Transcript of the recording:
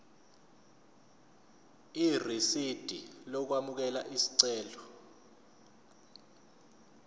irisidi lokwamukela isicelo